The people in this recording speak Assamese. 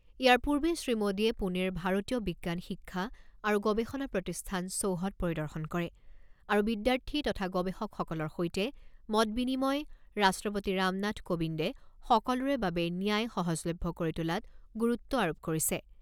ইয়াৰ পূৰ্বে শ্ৰীমোডীয়ে পুনেৰ ভাৰতীয় বিজ্ঞান শিক্ষা আৰু গৱেষণা প্ৰতিষ্ঠান চৌহদ পৰিদৰ্শন কৰে আৰু বিদ্যাৰ্থী তথা গৱেষকসকলৰ সৈতে মত বিনিময় ৰাষ্ট্ৰপতি ৰামনাথ কোবিন্দে সকলোৰে বাবে ন্যায় সহজলভ্য কৰি তোলাত গুৰুত্ব আৰোপ কৰিছে।